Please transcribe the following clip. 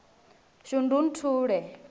shundunthule